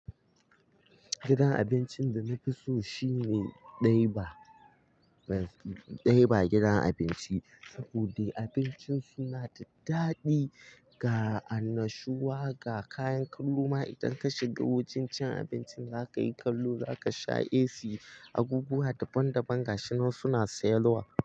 Gidan abincin da na fi so shine Ɗaiba, Daiba gidan abinci saboda abincin su na da daɗi ga annashuwa, ga kayan kallo ma idan ka shiga wajen cin abinci za ka yi kallo, za ka sha AC, abubuwa daban daban gashi na suna sayarwa.